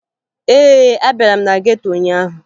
Ee, abịara m na geto ụnyaahụ